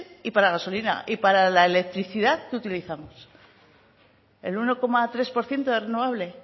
y para gasolina y para la electricidad qué utilizamos el uno coma tres por ciento de renovable